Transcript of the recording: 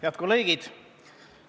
Head kolleegid!